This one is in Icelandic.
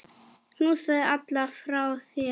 Knúsaðu alla frá mér.